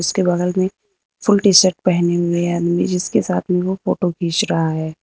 उसके बगल में फुल टी शर्ट पहने हुए आदमी जिसके साथ में वो फोटो खींच रहा है।